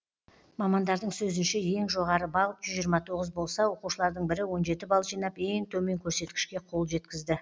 мамандардың сөзінше ең жоғары балл жүз жиырма тоғыз болса оқушылардың бірі он жеті бал жинап ең төмен көрсеткішке қол жеткізді